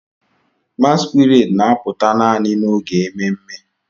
Masquerades na-apụta naanị n'oge ememme.